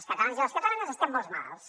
els catalans i les catalanes estem molt malalts